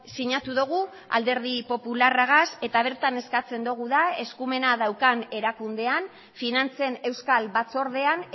sinatu dugu alderdi popularragaz eta bertan eskatzen dugu da eskumena daukan erakundean finantzen euskal batzordean